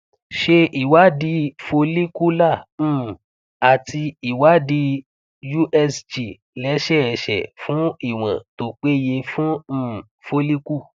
ṣe ìwádìí follicular um àti ìwádìí usg lẹsẹẹsẹ fún ìwọn tó peye fún um follicle